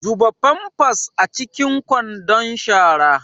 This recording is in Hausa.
Zuba pampers a cikin kwandon shara.